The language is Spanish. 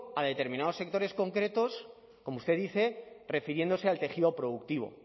a determinados sectores concretos como usted dice refiriéndose al tejido productivo